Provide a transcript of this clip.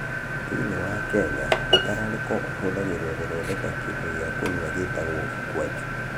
Thĩinĩ wa Kenya, mũtararĩko ũhũthagĩrũo gũthondeka kĩndũ gĩa kũnyua gĩĩtagwo ukwaju.